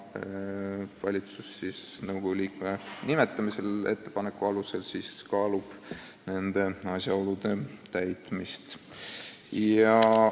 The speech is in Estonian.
Valitsus nõukogu liikme nimetamisel kaalub nende asjaolude täitmist.